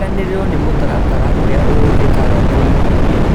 Kũiganĩrĩrwo nĩ mũtaratara ũrĩa ũhũthĩkaga kũiguithia